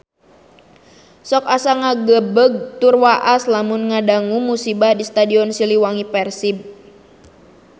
Sok asa ngagebeg tur waas lamun ngadangu musibah di Stadion Siliwangi Persib